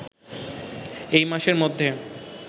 এই মাসের মধ্যে